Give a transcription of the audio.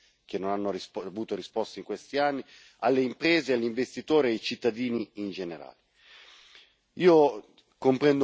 E queste risposte devono essere date soprattutto ai giovani, che non hanno avuto risposte in questi anni, alle imprese, agli investitori e ai cittadini in generale.